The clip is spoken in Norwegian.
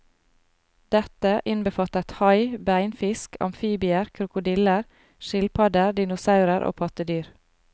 Dette innbefattet hai, beinfisk, amfibier, krokodiller, skilpadder, dinosaurer og pattedyr.